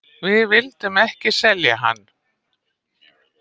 Við vildum ekki selja hann.